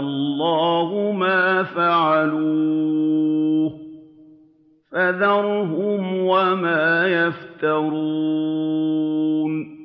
اللَّهُ مَا فَعَلُوهُ ۖ فَذَرْهُمْ وَمَا يَفْتَرُونَ